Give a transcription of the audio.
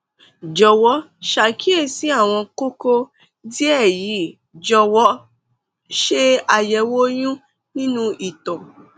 jọwọ ṣàkíyèsí àwọn kókó díẹ yìí jọwọ ṣe àyẹwò oyún nínú ìtọ